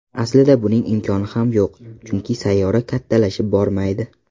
Aslida buning imkoni ham yo‘q, chunki sayyora kattalashib bormaydi.